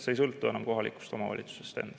See ei sõltu enam kohalikust omavalitsusest.